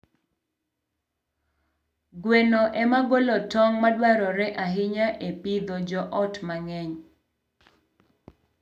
Gweno ema golo tong' madwarore ahinya e pidho joot mang'eny.